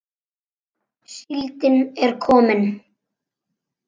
Síldin er komin!